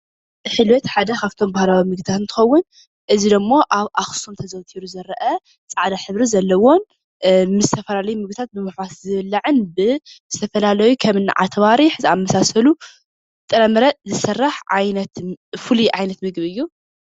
ሕልበት ሓደ ካብቶም ባህላዊ ምግብታት እንትከውን እዚ ድማ ኣብ ኣክሱም ኣዘውቲሩ ዝረአ ፃዕዳ ሕብሪ ዘለዎ ምስ ዝተፈላለዩ ምግቢ ብምሕዋስ ዝብላዕን ብዝተፈላለዩ ከምኒ ኣተባሕሪ ዝኣምሳሰሉ ጥረምረ ዝስራሕ ፍሉይ ዓይነት ምግቢ እዩ፡፡